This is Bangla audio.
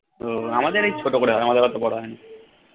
ও আমাদের এই ছোট করে হয় আমাদের এতো বড় হয়না